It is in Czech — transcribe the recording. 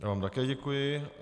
Já vám také děkuji.